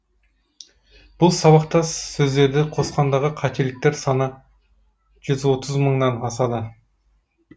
бұл сабақтас сөздерді қосқандағы қателіктер саны жүз отыз мыңнан асады